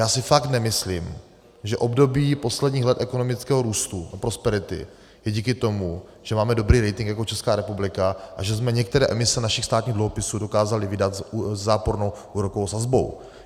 Já si fakt nemyslím, že období posledních let ekonomického růstu a prosperity je díky tomu, že máme dobrý rating jako Česká republika a že jsme některé emise našich státních dluhopisů dokázali vydat se zápornou úrokovou sazbou.